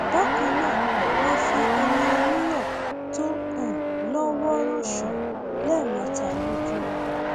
bákan náà ma fi omi oníyọ tó um lọ wọọrọ ṣàn án lẹẹmẹta lójúmọ